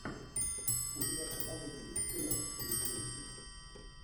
у тебя в каталоге есть кино с кейт уинслет